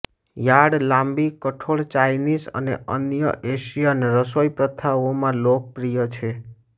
yard લાંબી કઠોળ Chinese અને અન્ય એશિયન રસોઈપ્રથાઓમાં લોકપ્રિય છે